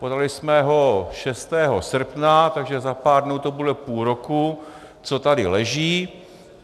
Podali jsme ho 6. srpna, takže za pár dnů to bude půl roku, co tady leží.